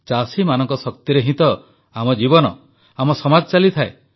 ଚାଷୀମାନଙ୍କ ଶକ୍ତିରେ ହିଁ ଆମ ଜୀବନ ଓ ଆମ ସମାଜ ଚାଲିଥାଏ